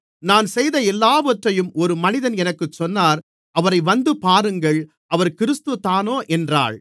நான் செய்த எல்லாவற்றையும் ஒரு மனிதன் எனக்குச் சொன்னார் அவரை வந்துபாருங்கள் அவர் கிறிஸ்துதானோ என்றாள்